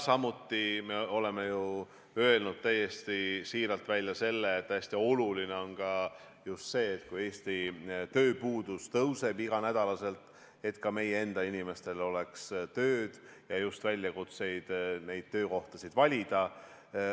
Samuti oleme öelnud täiesti siiralt välja, et hästi oluline on see, arvestades, et Eestis tööpuudus tõuseb iga nädal, et ka meie enda inimestel oleks tööd ja just võimalus neid töökohti valida.